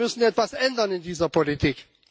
Wir müssen etwas ändern in dieser Politik.